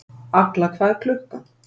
Agla, hvað er klukkan?